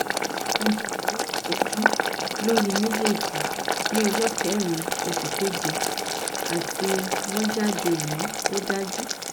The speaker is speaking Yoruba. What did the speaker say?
mo ṣe ìdánwò ìtọjú lóyè mejeji ní ọjọ́ kẹrin oṣù keje àti wọ́n jáde ẹni òdájú